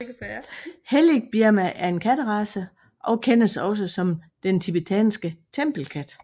Hellig Birma er en katterace og kendes også som Den tibetanske Tempelkat